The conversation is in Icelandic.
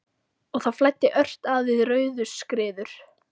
Og það flæddi ört að við Rauðuskriður.